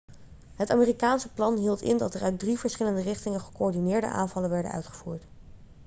het amerikaanse plan hield in dat er uit drie verschillende richtingen gecoördineerde aanvallen worden uitgevoerd